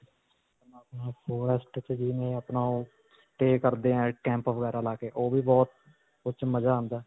ਆਪਣਾ forest ਤੇ ਜਿਵੇਂ ਆਪਣਾ ਓਹ stay ਕਰਦੇ ਹੈ camp ਵਗੈਰਾ ਲਾ ਕੇ ਓਹ ਵੀ ਬਹੁਤ ਉਸ 'ਚ ਮਜਾ ਆਉਂਦਾ ਹੈ.